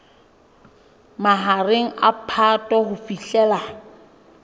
mahareng a phato ho fihlela